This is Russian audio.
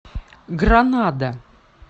гранада